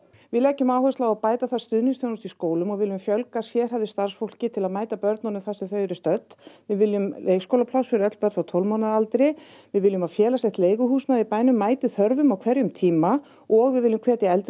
við leggjum áherslu á að bæta þarf stuðningsþjónustu í skólum og viljum fjölga sérhæfðu starfsfólki til að mæta börnunum þar sem þau eru stödd við viljum leikskólapláss fyrir öll börn frá tólf mánaða aldri við viljum að félagslegt leiguhúsnæði mæti þörfum á hverjum tíma og við viljum hvetja eldri